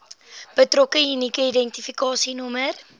betrokke unieke identifikasienommer